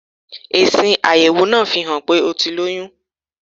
Èsì àyẹ̀wò náà fihàn pé ó ti lóyún.